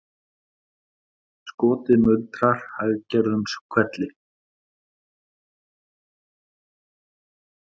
Skotið muldrar hæggerðum hvelli